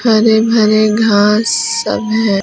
हरे भरे घास सब है।